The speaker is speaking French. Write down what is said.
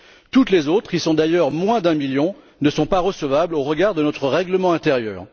Toutes les autres d'ailleurs moins d'un million ne sont pas recevables au regard de notre règlement intérieur.